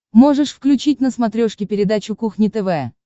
можешь включить на смотрешке передачу кухня тв